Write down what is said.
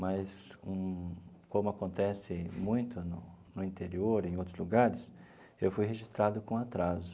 Mas hum, como acontece muito no no interior e em outros lugares, eu fui registrado com atraso.